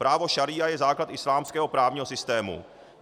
Právo šaría je základ islámského právního systému.